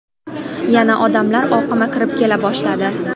Yana odamlar oqimi kirib kela boshladi.